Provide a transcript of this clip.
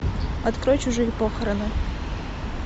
открой чужие похороны